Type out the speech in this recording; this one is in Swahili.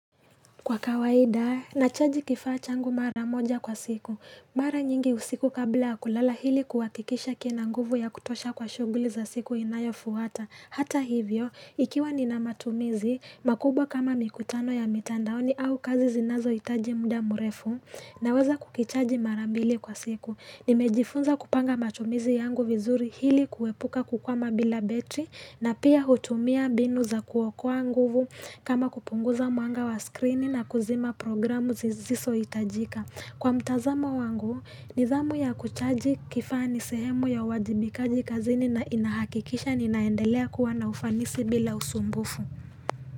Kwa kawaida, nachaji kifa changu mara moja kwa siku. Mara nyingi usiku kabla ya kulala hili kuwakikisha kina nguvu ya kutosha kwa shuguli za siku inayo fuwata. Hata hivyo, ikiwa nina matumizi, makubwa kama mikutano ya mitandaoni au kazi zinazo itaji muda murefu naweza kukichaji mara mbili kwa siku. Nimejifunza kupanga matumizi yangu vizuri hili kuwepuka kukwama bila betrii na pia hutumia binu za kuwakua nguvu kama kupunguza muanga wa screeni na kuzima programu zisizohitajika. Kwa mtazamo wangu, nidhamu ya kuchaji kifani sehemu ya wajibikaji kazini na inahakikisha ninaendelea kuwa na ufanisi bila usumbufu.